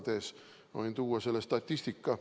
Ma võin tuua selle statistika.